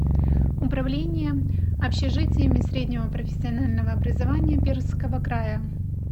управление общежитиями среднего профессионального образования пермского края